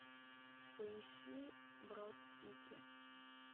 поищи брод сити